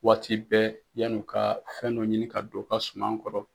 Waati bɛɛ yanni u ka fɛn dɔ ɲini ka don o ka suman kɔrɔ.